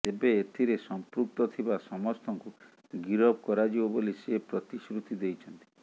ତେବେ ଏଥିରେ ସଂପୃକ୍ତ ଥିବା ସମସ୍ତଙ୍କୁ ଗିରଫ କରାଯିବ ବୋଲି ସେ ପ୍ରତିଶୃତି ଦେଇଛନ୍ତି